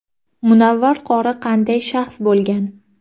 Munavvar qori qanday shaxs bo‘lgan?.